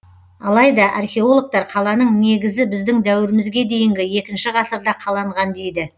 алайда археологтар қаланың негізі біздің дәуірімізге дейінгі екінші ғасырда қаланған дейді